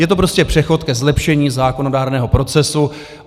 Je to prostě přechod ke zlepšení zákonodárného procesu.